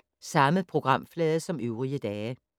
Samme programflade som øvrige dage